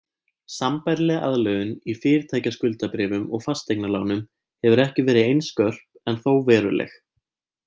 Sambærileg aðlögun í fyrirtækjaskuldabréfum og fasteignalánum hefur ekki verið eins skörp en þó veruleg.